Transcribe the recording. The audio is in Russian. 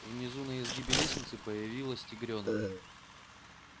внизу на изгибе лестницы появилась тигрёнок